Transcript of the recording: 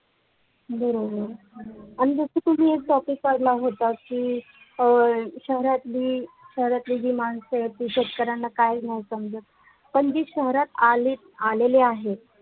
बरोबर आणि फक्त तुम्ही एक topic काढला होता की अ शहरातील शहरातली माणसे ते शेतकऱ्यांना काय नाही समजत पण जी शहरात आले आलेले आहे